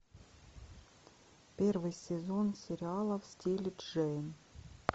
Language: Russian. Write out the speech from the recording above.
первый сезон сериала в стиле джейн